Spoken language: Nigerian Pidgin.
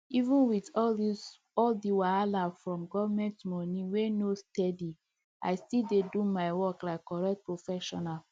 even with all the wahala from government money wey no steady i still dey do my work like correct professional